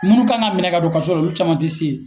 Munnu kan ka minɛ ka don kaso la, olu caman te se yen.